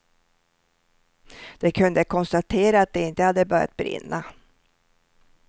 De kunde konstatera att det inte hade börjat brinna.